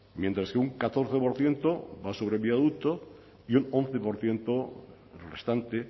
mientras que un catorce por ciento va sobre el viaducto y un once por ciento restante